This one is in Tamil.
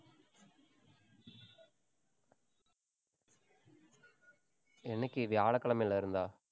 என்னைக்கு வியாழக்கிழமையில இருந்தா?